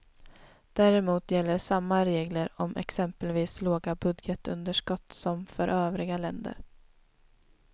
Däremot gäller samma regler om exempelvis låga budgetunderskott som för övriga länder.